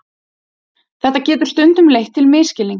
Þetta getur stundum leitt til misskilnings.